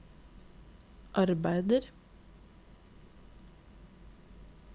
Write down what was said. arbeider